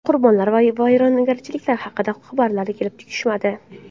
Qurbonlar va vayronagarchiliklar haqida xabarlar kelib tushmadi.